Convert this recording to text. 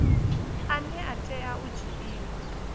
ane a tea u dzhiiwa